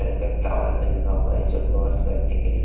का टावल भी लगा हुआ है जो बस --